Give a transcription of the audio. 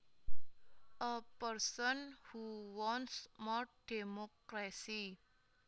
A person who wants more democracy